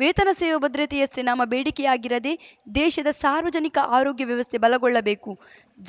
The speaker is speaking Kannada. ವೇತನ ಸೇವಾ ಭದ್ರತೆಯಷ್ಟೇ ನಮ್ಮ ಬೇಡಿಕೆಯಾಗಿರದೇ ದೇಶದ ಸಾರ್ವಜನಿಕ ಆರೋಗ್ಯ ವ್ಯವಸ್ಥೆ ಬಲಗೊಳ್ಳಬೇಕು